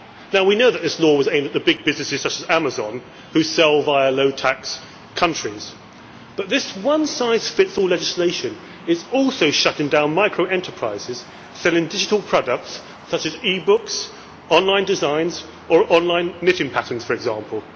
Now we know that this law was aimed at the big businesses such as Amazon which sell via low tax countries, but this one size fits all legislation is also shutting down microenterprises selling digital products such as eBooks, online designs, or online knitting patterns for example.